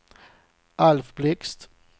Alf Blixt